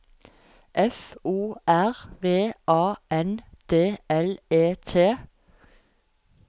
F O R V A N D L E T